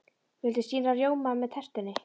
Viltu sýrðan rjóma með tertunni?